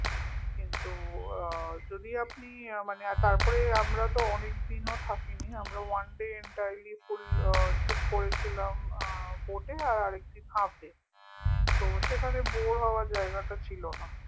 কিন্তু আহ যদি আপনি আহ মানে আর তার উপর আমরা তো অনেক দিনও থাকেনি আমরা one day entirely full আহ trip করেছিলাম আহ boat এ আর একদিন half day তো সেখানে bore হওয়ার জায়গাটা ছিলনা